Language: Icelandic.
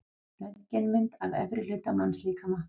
Röntgenmynd af efri hluta mannslíkama.